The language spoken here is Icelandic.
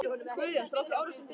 Guðjóns frá því ári, sem birt er.